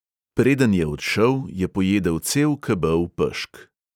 Preden je odšel, je pojedel cel kebel pešk.